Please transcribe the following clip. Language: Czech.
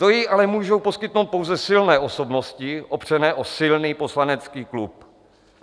To jí ale můžou poskytnout pouze silné osobnosti opřené o silný poslanecký klub.